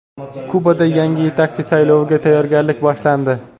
Kubada yangi yetakchi sayloviga tayyorgarlik boshlandi.